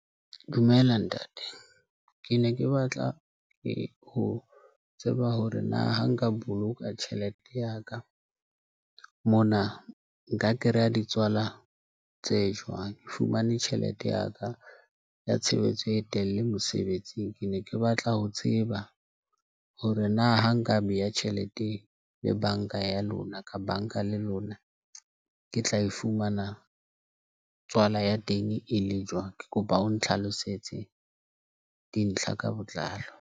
Dumela Ntate. Ke ne ke batla ho tseba hore na ha nka boloka tjhelete ya ka mona nka kry-a di tswalang tse jwang. Ke fumane tjhelete ya ka ya tshebetso e telele mosebetsing. Ke ne ke batla ho tseba hore na ha nka beha tjhelete le banka ka ya lona, ka banka, le lona ke tla e fumana tswala ya teng e le jwang. Ke kopa o ntlhlalosetse dintlha ka botlalo.